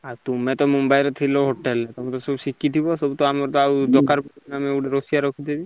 ଆଉ ତୁମେ ତ ମୁମ୍ବାଇ ରେ ଥିଲ ହୋଟେଲ ରେତମେ ତ ସବୁ ଶିଖିଥିବ ସବୁ ତ ଆମର ତ ଆଉ ଦରକାର ଗୋଟେ ରୋଷେଇୟା ରଖିଦେବି।